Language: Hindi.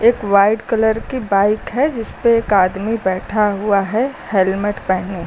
एक व्हाइट कलर की बाइक है जिस पे एक आदमी बैठा हुआ है हेलमेट पहने।